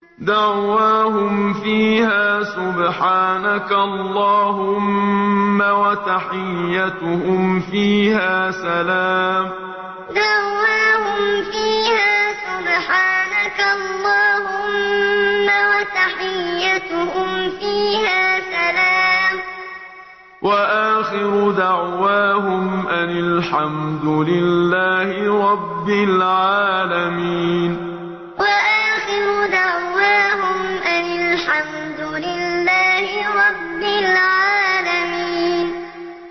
دَعْوَاهُمْ فِيهَا سُبْحَانَكَ اللَّهُمَّ وَتَحِيَّتُهُمْ فِيهَا سَلَامٌ ۚ وَآخِرُ دَعْوَاهُمْ أَنِ الْحَمْدُ لِلَّهِ رَبِّ الْعَالَمِينَ دَعْوَاهُمْ فِيهَا سُبْحَانَكَ اللَّهُمَّ وَتَحِيَّتُهُمْ فِيهَا سَلَامٌ ۚ وَآخِرُ دَعْوَاهُمْ أَنِ الْحَمْدُ لِلَّهِ رَبِّ الْعَالَمِينَ